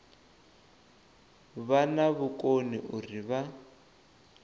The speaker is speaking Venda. vha na vhukoni uri vha